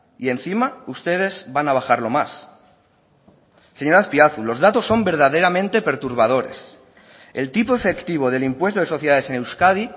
y encima ustedes van a bajarlo más señor azpiazu los datos son verdaderamente perturbadores el tipo efectivo del impuesto de sociedades en euskadi